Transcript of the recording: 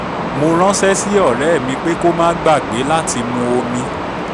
mo ránṣẹ́ sí ọ̀rẹ́ mí pé kó má gbàgbé látí mu omi